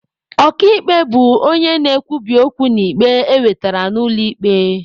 Ọka ikpe bụ onye na-ekwubi okwu n'ikpe ewetere n'ụlọ ikpe.